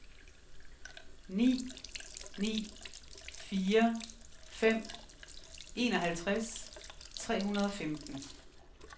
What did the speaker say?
ni ni fire fem enoghalvtreds tre hundrede og femten